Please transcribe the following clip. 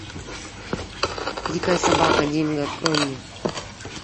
дикая собака динго открой мне